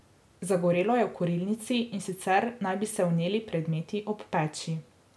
Zagorelo je v kurilnici, in sicer naj bi se vneli predmeti ob peči.